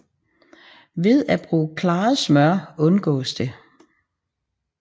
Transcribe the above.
Ved at bruge klaret smør undgås det